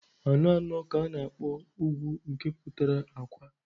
Anọ anọ ka ana-akpọ ugwu nke pụtara akwa.